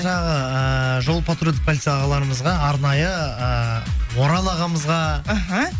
жаңағы ыыы жол патрульдік полиция ағаларымызға арнайы ы орал ағамызға іхі